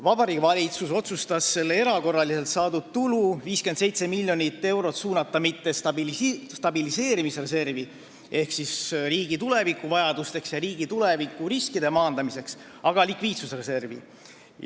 Vabariigi Valitsus otsustas suunata selle erakorraliselt saadud tulu, 57 miljonit eurot, mitte stabiliseerimisreservi ehk riigi tulevikuvajadusteks ja tulevikuriskide maandamiseks, vaid likviidsusreservi.